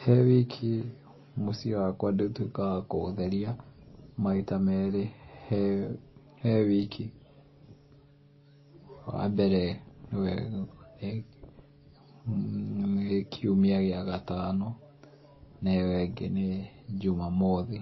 He wiki mũciĩ wakwa nĩ ũtũikaga wa kũũtheria maita meri he wiki, wa mbere ni kĩumia kĩa gatano na ĩyo ĩngĩ nĩ Jumamothi